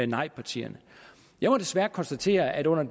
nejpartierne jeg må desværre konstatere at under